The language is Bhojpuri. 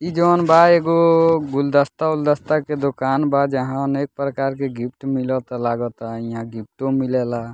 इ जोन बा एगो गुलदस्ता-उल्दस्ता के दोकान बा जहां अनेक प्रकार के गिफ्ट मिलाता लागाता इहा गिफ्टों मिलेला।